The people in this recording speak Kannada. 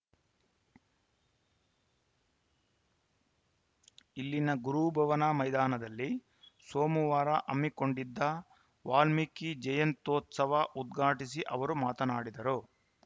ಇಲ್ಲಿನ ಗುರುಭವನ ಮೈದಾನದಲ್ಲಿ ಸೋಮವಾರ ಹಮ್ಮಿಕೊಂಡಿದ್ದ ವಾಲ್ಮೀಕಿ ಜಯಂತ್ಯುತ್ಸವ ಉದ್ಘಾಟಿಸಿ ಅವರು ಮಾತನಾಡಿದರು